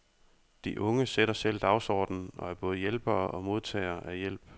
De unge sætter selv dagsordenen og er både hjælpere og modtagere af hjælp.